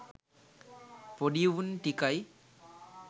පොඩි උන් ටිකයි